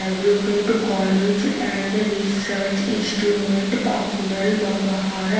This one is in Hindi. अब्रुकेड कॉलेज एंड रिसर्च इंस्ट्रूमेंट पाकिमेल बघहारा--